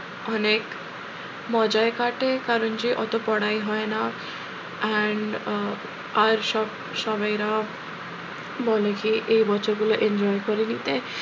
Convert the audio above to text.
অনেক মজাই কাটে কারণ যে অত পড়াই হয় না and আহ আর সব সব এরা বলে কি এই বছরগুলো enjoy করে নিতে,